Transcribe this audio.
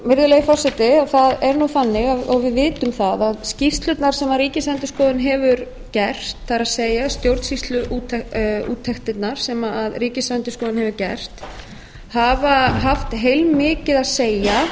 virðulegi forseti það er nú þannig og við vitum það að skýrslurnar sem ríkisendurskoðun hefur gert það er stjórnsýsluúttektirnar sem ríkisendurskoðun hefur gert hafa haft heilmikið að segja